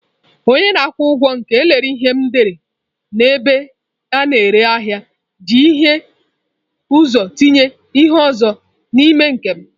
Onye na-akwụ ụgwọ nke lere ihe m n'ebe a na-ere ahịa ji hie ụzọ tinye ihe onye ọzọ n'ime nke m